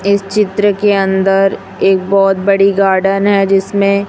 इस चित्र के अंदर एक बहुत बड़ी गार्डन है जिसमें--